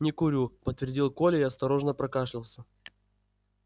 не курю подтвердил коля и осторожно прокашлялся